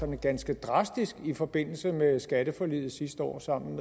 ganske drastisk i forbindelse med skatteforliget sidste år sammen